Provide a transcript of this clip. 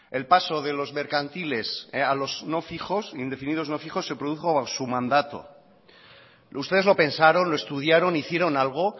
el paso de los mercantiles a los no fijos indefinidos no fijos se produjo en su mandato ustedes lo pensaron lo estudiaron hicieron algo